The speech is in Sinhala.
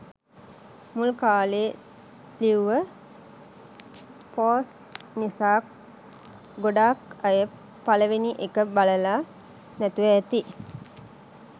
මුල් කාලෙ ලිව්ව පෝස්ට් නිසා ගොඩාක් අය පළවෙනි එක බලල නැතිව ඇති.